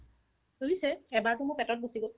এৰিছে এবাৰতো মোৰ পেটত গুচি গ'ল